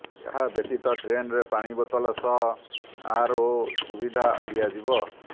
ଏହା ବ୍ୟତୀତ ଟ୍ରେନରେ ପାଣି ବେତଲ ସହ ଆରଓ ସୁବିଧା ଦିଆଯିବ